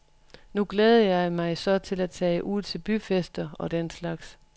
Nu glæder jeg mig så til at tage ud til byfester og den slags.